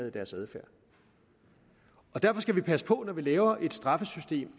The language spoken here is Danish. i deres adfærd derfor skal vi passe på når vi laver et straffesystem